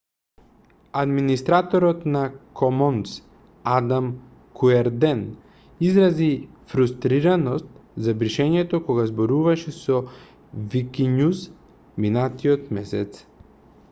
администраторот на комонс адам куерден изрази фрустираност за бришењата кога зборуваше со викињуз минатиот месец